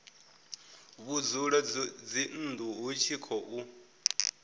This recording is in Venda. vhudzulo dzinnu hu tshi khou